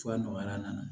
Fura nɔgɔyara